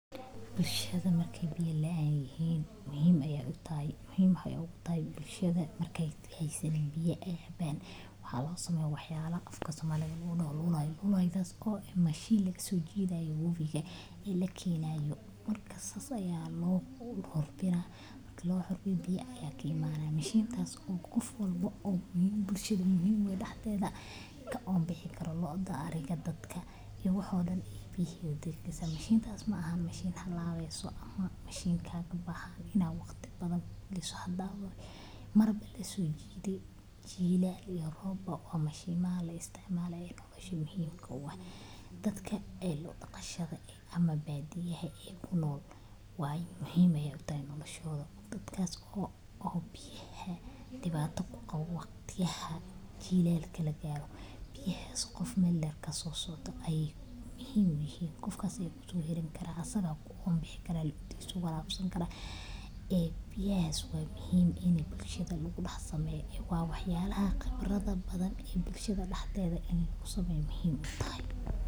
Bulshadu markey biyo la’an yihin muhim ayey u tahay waa dhibaato weyn oo saameyn ballaaran ku leh nolosha bulshada, gaar ahaan marka aysan jirin ilo biyo nadiif ah oo joogto ah. Marka ay bulsho biyo la’aan ku dhacdo, waxay wajahdaa dhibaatooyin dhanka caafimaadka ah, sida faafitaanka cudurrada ay ka mid yihiin shuban biyood, jadeeco iyo xanuuno kale oo laga qaado biyo wasakhaysan. Haweenka iyo carruurta ayaa inta badan la saaraa culayska raadsashada biyo fog, taasoo keenta daal, dhib, iyo in ay seegaan waxbarashada ama shaqada. Dhaqaale ahaan, bulshada biyo la'aantu hayso ma horumarto, beeraleydu kama faa’iidaystaan dalaggooda,